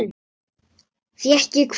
Fékk ég hvað?